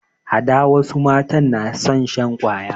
Hada wasu matan na son shan kwaya